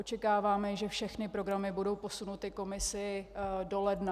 Očekáváme, že všechny programy budou posunuty Komisi do ledna.